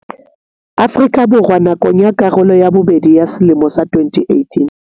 Afrika Borwa nakong ya karolo ya bobedi ya selemo sa 2018.